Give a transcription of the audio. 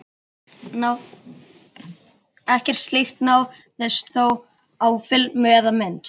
Ekkert slíkt náðist þó á filmu eða mynd.